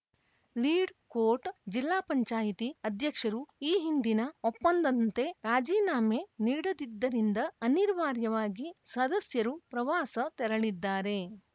ಲೀಡ್‌ಕೋಟ್‌ ಜಿಲ್ಲಾಪಂಚಾಯ್ತಿ ಅಧ್ಯಕ್ಷರು ಈ ಹಿಂದಿನ ಒಪ್ಪಂದಂತೆ ರಾಜೀನಾಮೆ ನೀಡದಿದ್ದರಿಂದ ಅನಿರ್ವಾರ್ಯವಾಗಿ ಸದಸ್ಯರು ಪ್ರವಾಸ ತೆರಳಿದ್ದಾರೆ